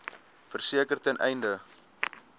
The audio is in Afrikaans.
verseker ten einde